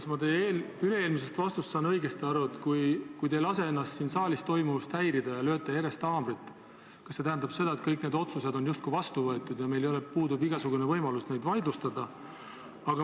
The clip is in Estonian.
Kas ma sain teie üle-eelmisest vastusest õigesti aru, et kui te ei lase ennast siin saalist toimuvast häirida ja lööte järjest haamrit, siis tähendab see seda, et kõik need otsused on justkui vastu võetud ja meil puudub igasugune võimalus neid vaidlustada?